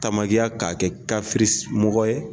Tamakiya k'a kɛ mɔgɔ ye